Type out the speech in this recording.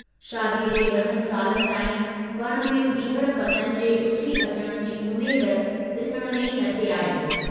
शादीअ जे ॾहनि सालनि ताईं वण में बीहर पतनि जे उसरी अचण जी उम्मेद डिसण में ई न थे आई।